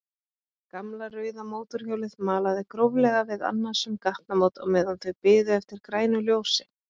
Gamla rauða mótorhjólið malaði gróflega við annasöm gatnamót á meðan þau biðu eftir grænu ljósi.